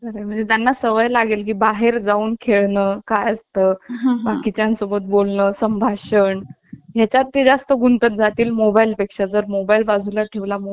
खरे म्हणजे त्यांना सवय लागेल की बाहेर जाऊन खेळणं काय असतं बाकी च्या सोबत बोलणं संभाषण याचा ती जास्त गुंतत जातील मोबाईल पेक्षा जर मोबाईल बाजूला ठेवला